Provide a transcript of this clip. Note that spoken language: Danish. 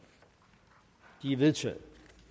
de er vedtaget